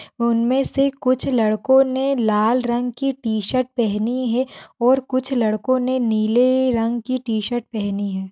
उनमें से कुछ लड़कों ने लाल रंग की टी-शर्ट पहनी है और कुछ लड़कों ने नीले रंग की टी-शर्ट पहनी है।